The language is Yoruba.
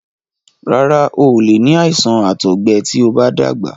Rárá, o ò lè ní àìsàn àtọgbẹ tí o bá dàgbà.